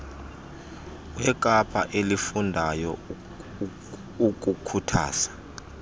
wekapa elifundayo ukhuthaza